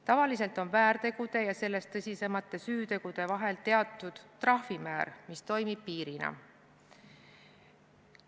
Tavaliselt on väärtegude ja sellest tõsisemate süütegude vahel teatud trahvimäär, mis toimib piirina.